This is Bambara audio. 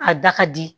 A da ka di